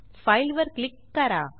file वर click करा